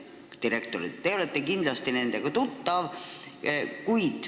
Te olete kindlasti nendega tuttav.